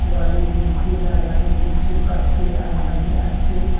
বালির মধ্যে লাগানো কিছু কাঁচের আলমারি আছে।